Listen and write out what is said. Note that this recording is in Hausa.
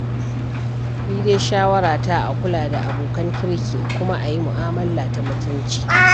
Ni dai shawarata, a kula da abokan kirki kuma a yi mu'amala ta mutunci.